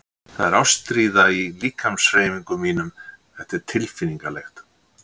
Það er ástríða í líkamshreyfingum mínum- þetta er tilfinningalegt.